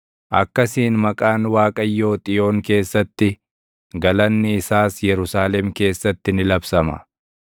Akkasiin maqaan Waaqayyoo Xiyoon keessatti, galanni isaas Yerusaalem keessatti ni labsama;